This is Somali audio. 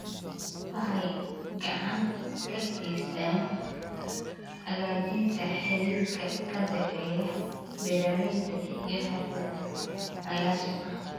Waxay gacan ka geystaan ??hagaajinta xiriirka ka dhexeeya beeralayda iyo xirfadlayaasha.